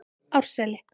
Árseli